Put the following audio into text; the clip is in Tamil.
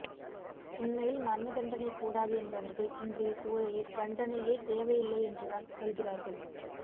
உண்மையில் மரணதண்டனை கூடாது என்பவர்கள் இன்றையசூழலில் தண்டனையே தேவையில்லை என்றுதான் சொல்கிறார்கள்